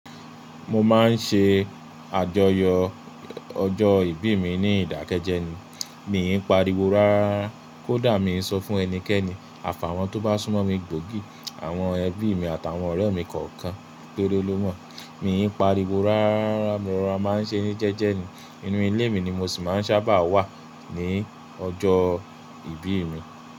Mo máa ń ṣe àjọyọ̀ ọjọ́ ìbí mi ní ìdákẹ́jẹ́ ni. Mi n pariwo rárá kódà mi ń sọ fún ẹnikẹ́ni. Àfààwọn tó bá súnmọ́ mi gbòógì àwọn ẹbí mi àtàwọn ọ̀rẹ́ mi kọ̀ọ̀kan tó dẹ́ ọ lọ́mọ. Mi n pariwo rárá, mo rọra máa ń ṣe ní jẹ́jẹ́ ni. Inú ilé mi ni mo sì máa ń sábà wà ní ọjọ́ ìbí mi.